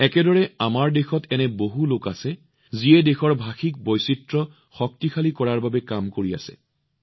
একেদৰে আমাৰ দেশত এনে বহু লোক আছে যিয়ে দেশৰ ভাষিক বৈচিত্ৰ্য শক্তিশালী কৰাৰ বাবে কাম কৰি আছে